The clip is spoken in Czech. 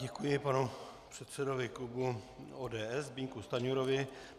Děkuji panu předsedovi klubu ODS Zbyňku Stanjurovi.